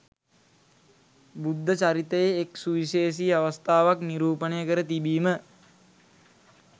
බුද්ධ චරිතයේ එක් සුවිශේෂී අවස්ථාවක් නිරූපණය කර තිබීම